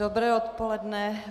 Dobré odpoledne.